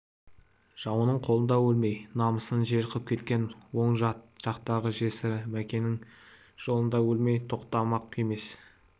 жауының қолында өлмей намысын жер қып кеткен оң жақтағы жесірі мәкеннің жолында өлмей тоқтамақ емес